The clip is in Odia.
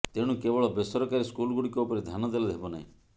ତେଣୁ କେବଳ ବେସରକାରୀ ସ୍କୁଲଗୁଡ଼ିକ ଉପରେ ଧ୍ୟାନ ଦେଲେ ହେବ ନାହିଁ